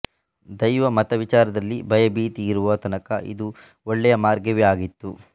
ದೈವ ಮತವಿಚಾರದಲ್ಲಿ ಭಯಭೀತಿ ಇರುವ ತನಕ ಇದು ಒಳ್ಳೆಯ ಮಾರ್ಗವೇ ಆಗಿತ್ತು